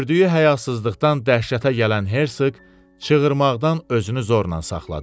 Gördüyü həyasızlıqdan dəhşətə gələn Herseq çığırmaqdan özünü zorla saxladı.